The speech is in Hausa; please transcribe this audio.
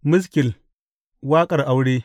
Maskil Waƙar Aure.